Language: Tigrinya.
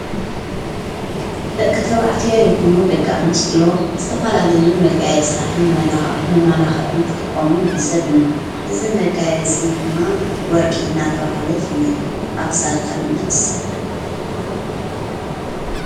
ደቂ ተብዕትዮ ይኹኑ ደቂ ኣንስትዮ ስተፋላለዩ መጋየ ጽላትን መለኻ መማላኽዕን ክጥቆሙን ዕዘብ ኢነ ሕዝ መጋይ ጽኒ ድማ ወርቂ እና ተብሃለ ኣይፍነጥ ኣፍክሳድካ ድማ ይእሠር።